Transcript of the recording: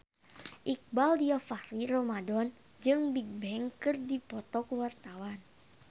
Iqbaal Dhiafakhri Ramadhan jeung Bigbang keur dipoto ku wartawan